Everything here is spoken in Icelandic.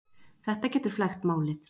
Þetta getur flækt málið.